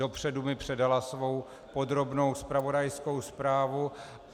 Předem mi předala svou podrobnou zpravodajskou zprávu.